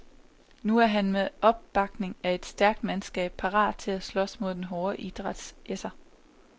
Nu er han med opbakning af et stærkt mandskab parat til at slås mod den hårde idræts esser.